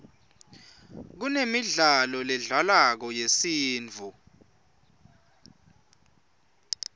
kunemidlalo ledlalwako yesintfu